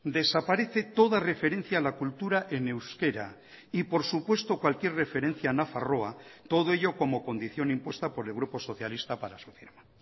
desaparece toda referencia a la cultura en euskera y por supuesto cualquier referencia a nafarroa todo ello como condición impuesta por el grupo socialista para su firma